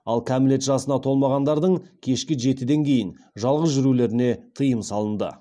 ал кәмелет жасына толмағандардың кешкі жетіден кейін жалғыз жүрулеріне тыйым салынды